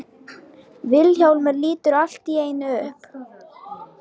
Vilhjálmur lítur allt í einu upp.